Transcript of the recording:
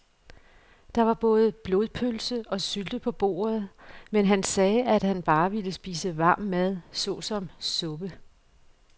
Der var både blodpølse og sylte på bordet, men han sagde, at han bare ville spise varm mad såsom suppe.